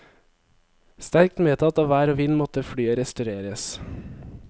Sterkt medtatt av vær og vind måtte flyet restaureres.